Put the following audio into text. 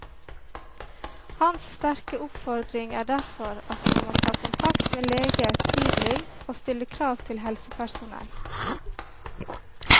Hans sterke oppfordring er derfor at man må ta kontakt med lege tidlig og stille krav til helsepersonell.